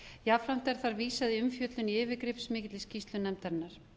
jafnframt er þar vísað í umfjöllun í yfirgripsmikilli skýrslu nefndarinnar